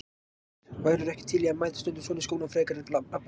Hersir: Værirðu ekki til í að mæta stundum svona í skólann frekar en labbandi?